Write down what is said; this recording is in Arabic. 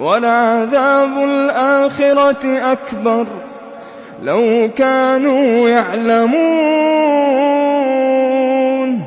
وَلَعَذَابُ الْآخِرَةِ أَكْبَرُ ۚ لَوْ كَانُوا يَعْلَمُونَ